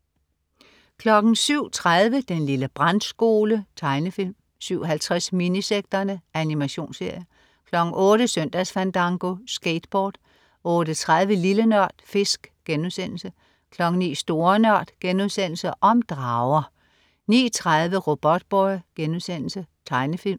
07.30 Den lille brandskole. Tegnefilm 07.50 Minisekterne. Animationsserie 08.00 Søndagsfandango. Skateboard 08.30 Lille Nørd. Fisk* 09.00 Store Nørd.* Om drager 09.30 Robotboy.* Tegnefilm